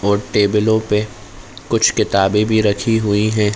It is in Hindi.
और टेबलों पे कुछ किताबे भी रखी हुईं हैं।